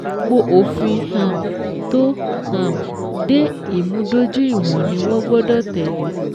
Gbogbo òfin um tó um de ìmúdójú ìwọ̀n ni wọ́n gbọ́dọ̀ tẹ́lẹ̀.